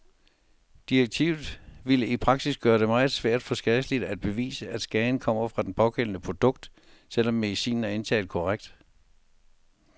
Direktivet ville i praksis gøre det meget svært for skadelidte at bevise, at skaden kommer fra det pågældende produkt, selv om medicinen er indtaget korrekt.